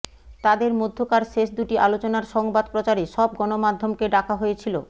তাদের মধ্যকার শেষ দুটি আলোচনার সংবাদ প্রচারে সব গণমাধ্যমকে ডাকা হয়েছিল